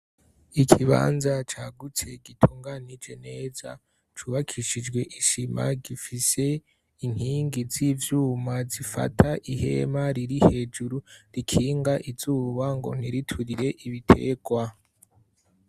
ikibanza cagutse gitunganije neza cubakishijwe ishima gifise inkingi z'ivyuma zifata ihema riri hejuru rikinga izuba ngo ntiriturire ibitegwa